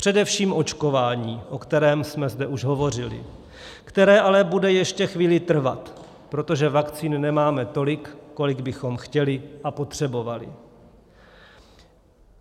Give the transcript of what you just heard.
Především očkování, o kterém jsme zde už hovořili, které bude ale ještě chvíli trvat, protože vakcín nemáme tolik, kolik bychom chtěli a potřebovali.